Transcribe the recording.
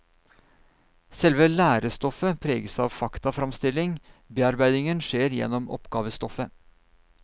Selve lærestoffet preges av faktaframstilling, bearbeidingen skjer gjennom oppgavestoffet.